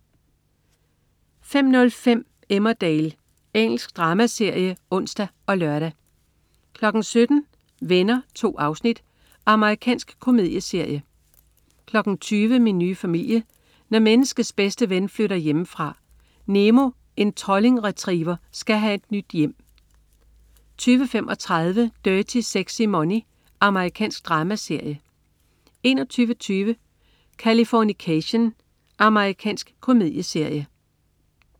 05.05 Emmerdale. Engelsk dramaserie (ons og lør) 17.00 Venner. 2 afsnit. Amerikansk komedieserie 20.00 Min nye familie. Når menneskets bedste ven flytter hjemmefra. Nemo, en trolling retriever, skal have et nyt hjem 20.35 Dirty Sexy Money. Amerikansk dramaserie 21.20 Californication. Amerikansk komedieserie